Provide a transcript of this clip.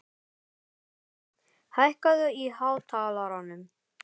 Signý, hækkaðu í hátalaranum.